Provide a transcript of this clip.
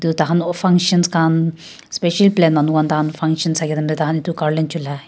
takhan toh functions khan specially plain manu khan functions thakia time tey taikhan itu garlands chulai.